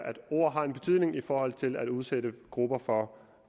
at ord har en betydning i forhold til at udsætte grupper for